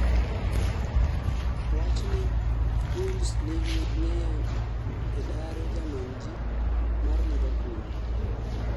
owachni wolves nigi ng'eyo e daro jamonji mar liverpool